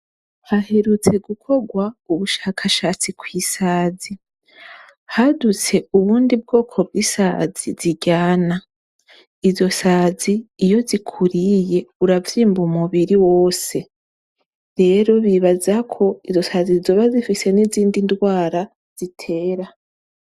Haherutse gukorwa ubushakashatsi ku bwoko bw'isazi. Hadutse ubundi bwoko bw'isazi ziryana. Izo sazi iyo zikuriye uravyimba umubiri wose. Rero bibaza ko izo sazi zoba zifise n'izindi ndwara zitera.